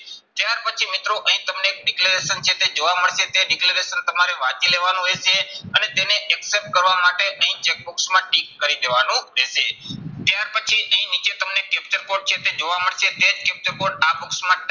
ત્યાર પછી મિત્રો અહીં તમને declaration છે તે જોવા મળશે. તે declaration તમારે વાંચી લેવાનું રહેશે. અને તેને accept કરવા માટે અહીં check box માં tick કરી દેવાનું રહેશે. ત્યાર પછી અહીં નીચે તમને captcha code છે તે જોવા મળશે. તે captcha code આ box માં